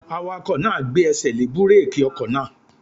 Awakọ̀ náà gbé ẹsẹ̀ lé búrèkì ọkọ̀ náà